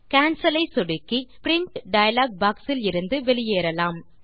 Cancelஐ சொடுக்கி print dialog box இலிருந்து வெளியேறலாம்